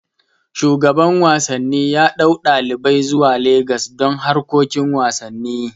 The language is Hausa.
Shugaban wasanni yaɗau ɗalibai zuwa Lagos don harkokin wasanni